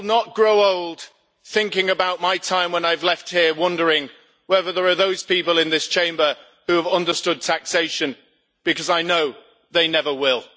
I will not grow old thinking about my time when I have left here wondering whether there are those people in this Chamber who have understood taxation, because I know they never will.